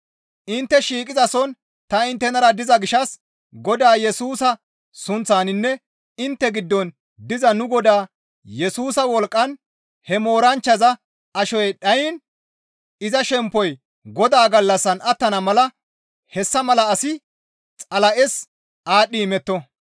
Intte shiiqizason ta inttenara diza gishshas Godaa Yesusa sunththaninne intte giddon diza nu Godaa Yesusa wolqqan he mooranchchaza ashoy dhayiin iza shemppoy Godaa gallassan attana mala hessa mala asi Xala7es aadhdhi imetto.